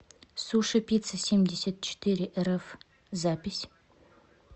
сушипиццасемьдесятчетырерф запись